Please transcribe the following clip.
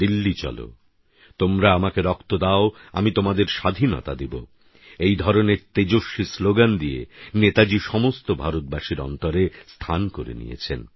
দিল্লি চলো তোমরা আমাকে রক্ত দাও আমি তোমাদের স্বাধীনতা দেব এই ধরনের তেজস্বী স্লোগান দিয়ে নেতাজী সমস্ত ভারতবাসীর অন্তরে স্থান করে নিয়েছেন